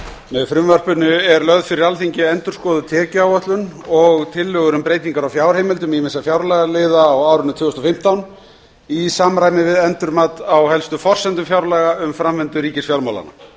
með frumvarpinu er lögð fyrir alþingi endurskoðuð tekjuáætlun og tillögur um breytingar á fjárheimildum ýmissa fjárlagaliða á árinu tvö þúsund og fimmtán í samræmi við endurmat á helstu forsendum fjárlaga og framvindu ríkisfjármálanna